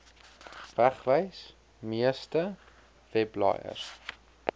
wegwys meeste webblaaiers